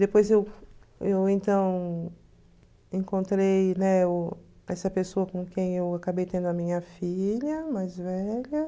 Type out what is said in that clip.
Depois eu eu então encontrei, né, o essa pessoa com quem eu acabei tendo a minha filha mais velha.